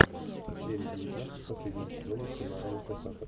серия девятнадцать последнего сезона сериала инкассатор